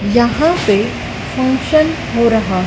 यहां पे फंक्शन हो रहा--